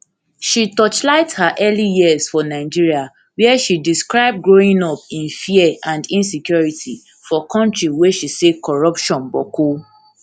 she torchlight her early years for nigeria wia she describe growing up in fear and insecurity for kontri wey she say corruption boku